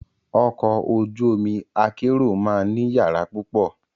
Ọkọ̀ ojú omi akérò máa ní yàrá púpọ̀.